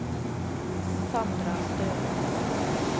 Sandra Stølen